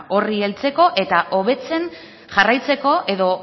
horri heltzeko eta hobetzen jarraitzeko edo